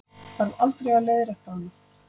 Þarf aldrei að leiðrétta hana.